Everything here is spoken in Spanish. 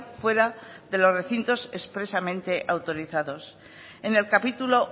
fuera de los recintos expresamente autorizados en el capítulo